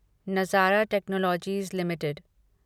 नज़ारा technologies limited